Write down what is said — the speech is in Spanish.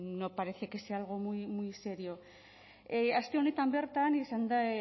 no parece que sea algo muy serio aste honetan bertan izan da